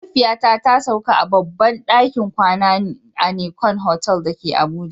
Mahaifiyata ta sauka a babban dakin kwana a Nicon Hotel da ke Abuja